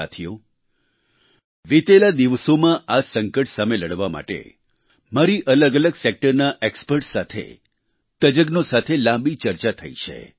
સાથીઓ વિતેલા દિવસોમાં આ સંકટ સાથે લડવા માટે મારી અલગ અલગ સેક્ટરના એક્સપર્ટ્સ સાથે તજજ્ઞો સાથે લાંબી ચર્ચા થઈ છે